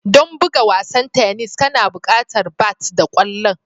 Don buga wasan tennis kana buƙatar bat da ƙwallon